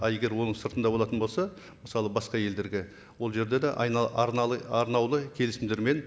а егер оның сыртында болатын болса мысалы басқа елдерге ол жерде де арнаулы келісімдермен